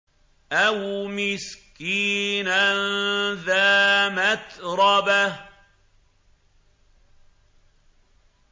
أَوْ مِسْكِينًا ذَا مَتْرَبَةٍ